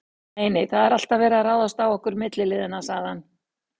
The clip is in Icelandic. Nei, nei, það er alltaf verið að ráðast á okkur milliliðina sagði